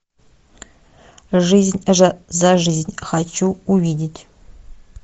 жизнь за жизнь хочу увидеть